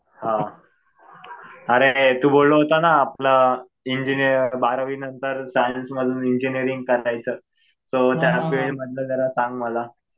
हा. अरे तू बोलला होता ना आपलं बारावी नंतर सायन्स मधून इंजिनीअरिंग करायचं. तर त्या फिल्ड मधलं जरा सांग मला.